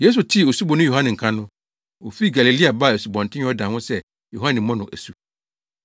Yesu tee Osuboni Yohane nka no, ofii Galilea baa Asubɔnten Yordan ho sɛ Yohane mmɔ no asu.